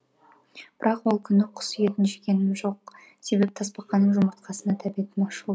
бірақ ол күні құс етін жегенім жоқ себебі тасбақаның жұмыртқасына тәбетім ашылды